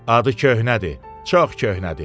Adı köhnədir, çox köhnədir.